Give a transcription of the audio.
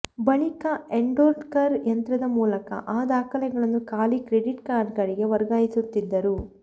ಬಳಿಕ ಎನ್ಕೋಡರ್ ಯಂತ್ರದ ಮೂಲಕ ಆ ದಾಖಲೆಗಳನ್ನು ಖಾಲಿ ಕ್ರೆಡಿಟ್ ಕಾರ್ಡ್ಗಳಿಗೆ ವರ್ಗಾಯಿಸುತ್ತಿದ್ದರು